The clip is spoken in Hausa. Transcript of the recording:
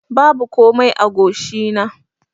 Babu komai a goshi na.